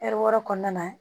Ɛri wɔɔrɔ kɔnɔna na